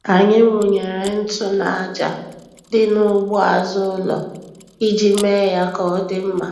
Anyị wụnyere ntụ n'aja dị n'ugbo azụ ụlọ iji mee ya ka ọ dị mma.